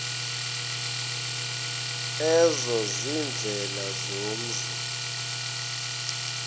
ezo ziindlela zomzi